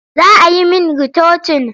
Za a yi min ritocin.